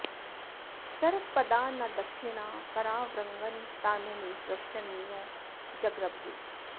सरत्पदा न दक्षिणा परावृङ्न ता नु मे पृशन्यो जगृभ्रे